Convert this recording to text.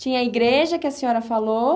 Tinha a igreja que a senhora falou?